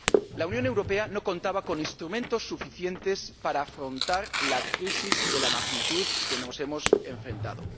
La Unión Europea no contaba con instrumentos suficientes para afrontar una crisis de magnitud tal como esta a la que nos hemos enfrentado.